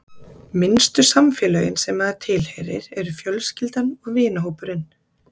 Minnstu samfélögin sem maður tilheyrir eru fjölskyldan og vinahópurinn.